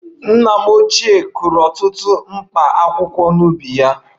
Nna m ochie kụrụ ọtụtụ Mkpaakwụkwọ n'ubi ya